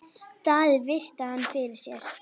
Daði virti hann fyrir sér.